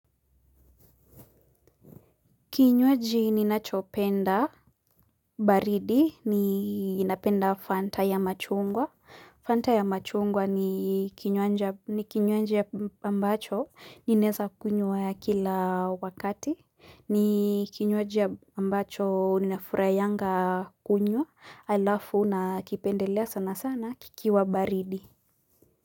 Kinywaji ninachopenda baridi ninapenda fanta ya machungwa. Fanta ya machungwa ni kinywaji ambacho ninaweza kunywa ya kila wakati. Ni kinywaji ambacho ninafurahianga kunywa halafu na kipendelea sana sana kikiwa baridi.